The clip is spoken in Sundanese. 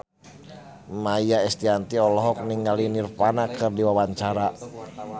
Maia Estianty olohok ningali Nirvana keur diwawancara